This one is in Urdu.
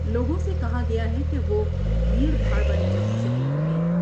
لوگوں سے کہا گیا ہے کہ وہ بھیٹر بھاڑ والی جگہوں سے دور ر ہیں ۔